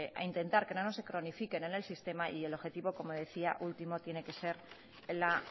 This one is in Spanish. a intentar que no se cronifiquen en el sistema y el objetivo último tiene que ser la